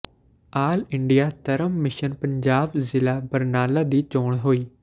ਆਲ India Dharam mission Punjab ਜ਼ਿਲ੍ਹਾ ਬਰਨਾਲਾ ਦੀ ਚੋਣ ਹੋਈ